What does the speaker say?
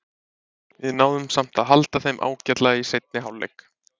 Við náðum samt að halda þeim ágætlega í seinni hálfleiknum.